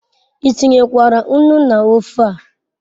I tinyekwara nnu n'ofe a